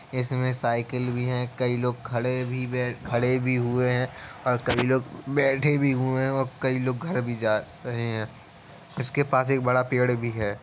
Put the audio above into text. इसमें साइकिल भी हैं । कई लोग खड़े भी बै खड़े भी हुए हैं। कई लोग बैठे भी हुए हैं और कई लोग घर भी जा रहे हैं। उसके पास एक बड़ा पेड़ भी है।